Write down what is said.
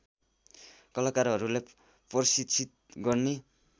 कलाकारहरूलाई प्रशिक्षित गर्ने